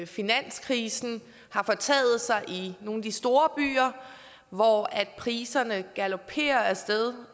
finanskrisen har fortaget sig i nogle af de store byer hvor priserne galoperer af sted